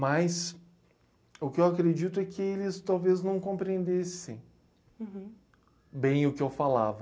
Mas o que eu acredito é que eles talvez não compreendessem bem o que eu falava.